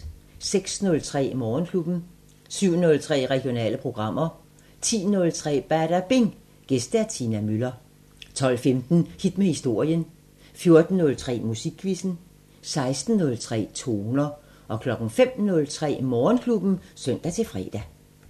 06:03: Morgenklubben 07:03: Regionale programmer 10:03: Badabing: Gæst Tina Müller 12:15: Hit med historien 14:03: Musikquizzen 16:03: Toner 05:03: Morgenklubben (søn-fre)